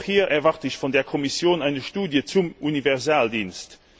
Auch hier erwarte ich von der Kommission eine Studie zum Universaldienst.